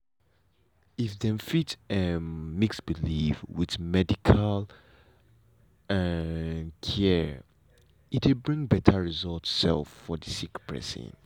if dem fit um mix belief with medical um care e dey bring better result um for the sick person.